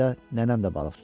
Mayda nənəm də balıq tutar.